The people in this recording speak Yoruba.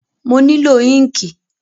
Mo nílò ínkìì